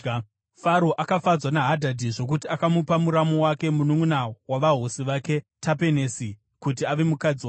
Faro akafadzwa naHadhadhi zvokuti akamupa muramu wake, mununʼuna wavahosi vake Tapenesi, kuti ave mukadzi wake.